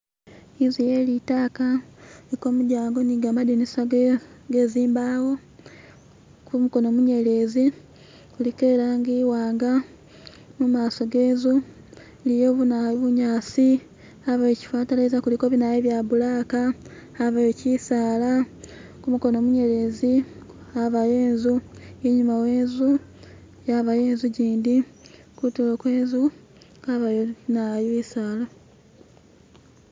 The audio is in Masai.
inzu yelitaka iliko mudyango nigamadinisa gezimbawo kumukono munyelezi kuliko ilanji iwanga mumaso genzu iliyo bunyasi abawo chifatalayiza kuliko binayu byabulaka abawo chisaala kumukono munyelezi abawo enzu inyuma wenzu abawo inzu jindi kutulo kwenzu abawo bisaala